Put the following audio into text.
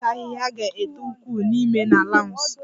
Kapet ahịhịa ga-eto ukwuu n'ime na lawns